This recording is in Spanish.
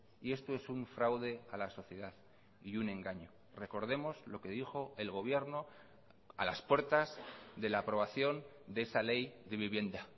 y esto es un fraude a la sociedad y un engaño recordemos lo que dijo el gobierno a las puertas de la aprobación de esa ley de vivienda